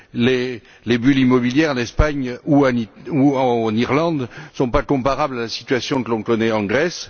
Les bulles immobilières en Espagne ou en Irlande ne sont pas comparables à la situation que l'on connaît en Grèce.